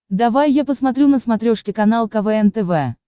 давай я посмотрю на смотрешке канал квн тв